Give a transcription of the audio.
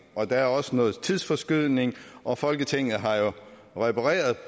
der er også noget tidsforskydning og folketinget har jo repareret